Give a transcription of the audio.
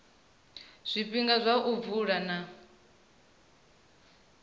zwifhinga zwa u vula na